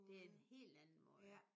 Det er en helt anden måde